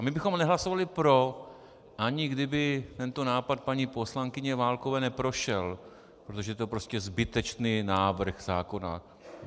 A my bychom nehlasovali pro, ani kdyby tento nápad paní poslankyně Válkové neprošel, protože je to prostě zbytečný návrh zákona.